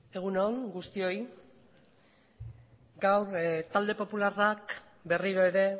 egun on guztioi gaur talde popularrak berriro ere